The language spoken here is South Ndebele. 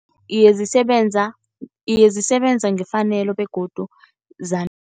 Iye zisebenza, iye zisebenza ngefanelo begodu